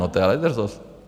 No, to je ale drzost.